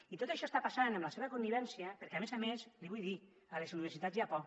i tot això està passant amb la seva connivència perquè a més a més li vull dir a les universitats hi ha por